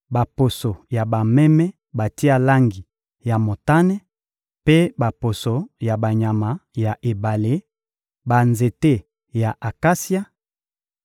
baposo ya bameme batia langi ya motane mpe baposo ya banyama ya ebale, banzete ya akasia,